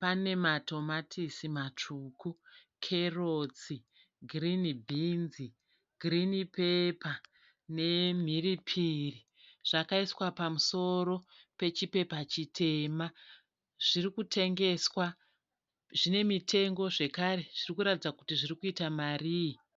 Pane matomatisi matsvuku makeritsi, girinhi bhinzi, girinhi pepa nemhiripiri zvakaiswa pamusoro pechipepa chitema. Zvirikutengeswa, zvinemitengo, zvekare zvirikuratidza kuti zvirikuita marii.